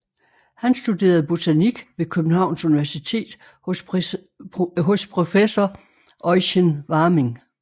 Han studerede botanik ved Københavns Universitet hos professor Eugen Warming